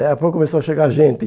Daqui a pouco começou a chegar gente.